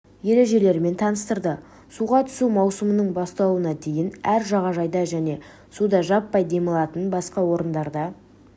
ережелерімен таныстырды суға түсу маусымының басталуына дейін әр жағажайда және суда жаппай демалатын басқа орындарда